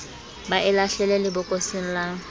ba e lahlele lebokoseng la